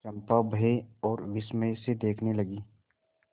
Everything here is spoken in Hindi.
चंपा भय और विस्मय से देखने लगी